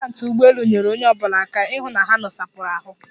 Atendantị ụgbọelu nyeere onye ọbụla aka ịhụ na ha nosapụrụ ahụ.